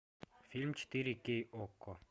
фильм четыре кей окко